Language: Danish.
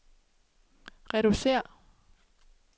reducere